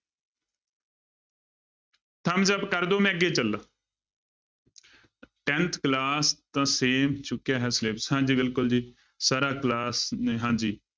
Thumbs up ਕਰ ਦਓ ਮੈਂ ਅੱਗੇ ਚੱਲਾਂ tenth class ਦਾ same ਚੁੱਕਿਆ ਹੈ syllabus ਹਾਂਜੀ ਬਿਲਕੁਲ ਜੀ, ਸਰ ਆਹ class ਹਾਂਜੀ